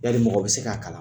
Yali mɔgɔ bɛ se k'a kalan?